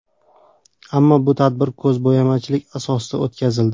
Ammo bu tadbir ko‘zbo‘yamachilik asosida o‘tkazildi.